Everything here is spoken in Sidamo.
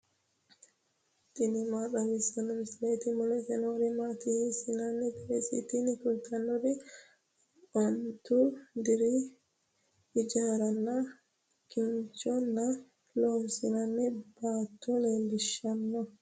tini maa xawissanno misileeti ? mulese noori maati ? hiissinannite ise ? tini kultannori ontu deerri ijaaranna kinchunni loonsoonni baatto leellishshanno.